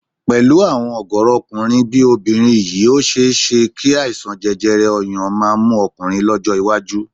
Pẹ̀lú àwọn ọ̀gọ̀ọ̀rọ̀ ọkùnrin bí obìnrin yìí ó ṣe é ṣé kí àìsàn jẹjẹrẹ ọyàn máa mú ọkùnrin lọ́jọ́ iwájú